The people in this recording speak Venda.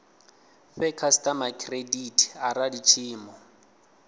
fhe khasitama khiredithi arali tshiimo